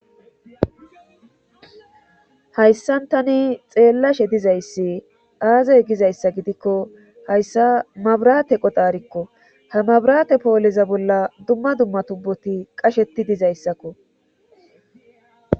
hayssan tani xeellashe dizayssi aazey gizayssa gidikko hayssa mabrate qodaarikko ha mabraate pooleza bolla dumma dumma tubboti qasheti dizayssakko